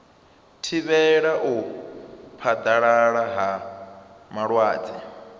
thivhela u phaḓalala ha malwadze